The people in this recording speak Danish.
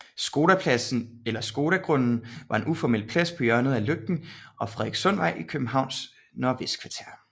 Skodapladsen eller Skodagrunden var en uformel plads på hjørnet af Lygten og Frederikssundsvej i Københavns Nordvestkvarter